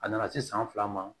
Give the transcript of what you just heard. A nana se san fila ma